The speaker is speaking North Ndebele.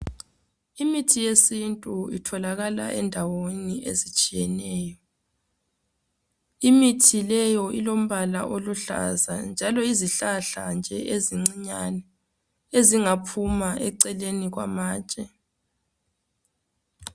Imithi yesintu itholakala endaweni ezitshiyetshiyeneyo. Imithi leyo Ilombala oluhlaza njalo yizihlahla nje ezincinyane ezingaphuma eceleni kwamatshe.